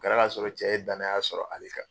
O kɛra ka sɔrɔ cɛ ye danaya sɔrɔ ale kan